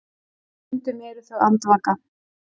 Stundum eru þau andvaka.